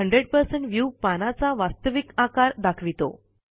100 view पानाचा वास्तविक आकार दाखवितो